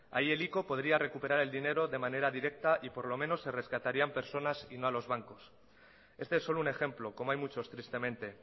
ahí el ico podría recuperar el dinero de manera directa y por lo menos se rescatarían personas y no a los bancos este es solo un ejemplo como hay muchos tristemente